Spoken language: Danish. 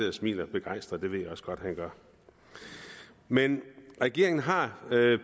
og smiler begejstret det ved jeg også godt at han gør men regeringen har